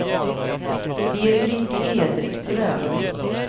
Birgit Edström